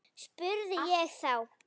spurði ég þá.